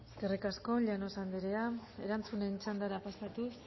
eskerrik asko llanos andrea erantzunen txandara pasatuz